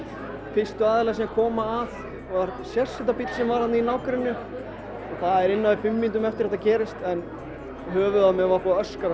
fyrstu aðilar sem koma að var sérsveitarbíll sem var þarna í nágrenninu það var innan við fimm mínútum eftir að þetta gerðist en höfuðið á mér var búið að öskra